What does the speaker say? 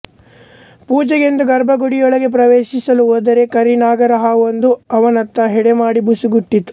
ಪೂಜೆಗೆಂದು ಗರ್ಭಗುಡಿಯೊಳಗೆ ಪ್ರವೇಶಿಸಲು ಹೋದರೆ ಕರಿನಾಗರಹಾವೊಂದು ಅವನತ್ತ ಹೆಡೆಮಾಡಿ ಬುಸುಗುಟ್ಟಿತು